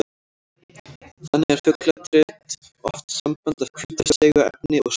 Þannig er fugladrit oft sambland af hvítu seigu efni og saur.